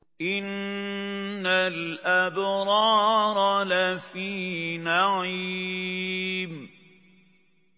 إِنَّ الْأَبْرَارَ لَفِي نَعِيمٍ